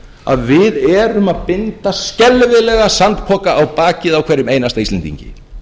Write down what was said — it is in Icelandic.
að við erum að binda skelfilega sandpoka á bakið á hverjum einasta íslendingi